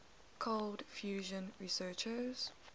cold fusion researchers